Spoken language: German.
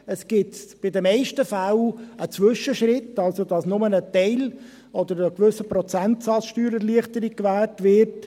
Es gibt in den meisten Fällen einen Zwischenschritt, also, dass nur für einen Teil oder einen gewissen Prozentsatz Steuererleichterung gewährt wird.